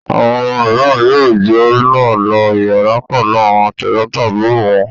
Àwọn ọmọ mìíràn yóò jọ náà lo ìyàrá pẹ̀lú àwọn tẹ̀gbọ́ntàbúrò wọn.